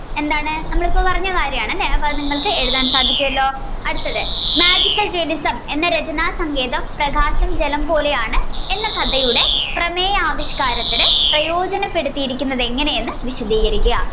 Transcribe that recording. എന്താണ് നമ്മൾ ഇപ്പൊ പറഞ്ഞ കാര്യമാണ് അല്ലെ അപ്പോൾ അത് നിങ്ങൾക് എഴുതാൻ സാധിക്കുവല്ലോ അടുത്തത് Magical realism എന്ന രചന സങ്കേതം പ്രകാശം ജലം പോലെയാണ് എന്ന കഥയുടെ പ്രേആര്യാവിഷയംരത്തിന് പ്രയോജനപ്പെടുത്തിയിരിക്കുന്നത് എങ്ങനെയെന്നു വിശദീകരിക്കുക